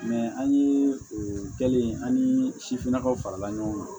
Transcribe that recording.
an ye kɛlen an ni sifinnakaw farala ɲɔgɔn kan